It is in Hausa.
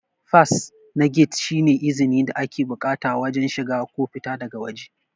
fas na gate shi ne izni da ake bukata wajen shiga ko fita daga wajē